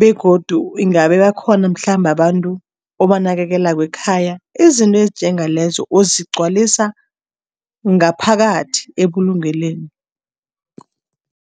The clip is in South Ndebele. begodu ingabe bakhona mhlambe abantu obanakekelako ekhaya, izinto ezinjengalezo, uzigwalisa ngaphakathi ebulungelweni.